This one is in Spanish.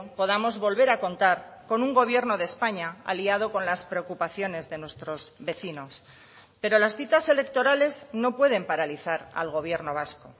podamos volver a contar con un gobierno de españa aliado con las preocupaciones de nuestros vecinos pero las citas electorales no pueden paralizar al gobierno vasco